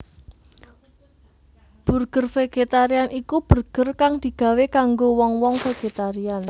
Burger vegetarian iku burger kang digawé kanggo wong wong vegetarian